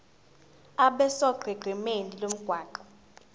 abe sonqenqemeni lomgwaqo